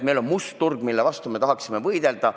Meil on must turg, mille vastu me tahaksime võidelda.